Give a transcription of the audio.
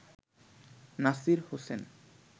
Nasir Hossain